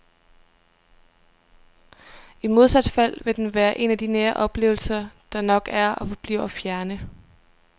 I modsat fald vil den være en af nære oplevelser, der nok er og forbliver fjerne.